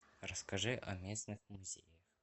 расскажи о местных музеях